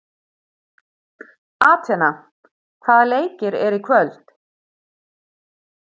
Atena, hvaða leikir eru í kvöld?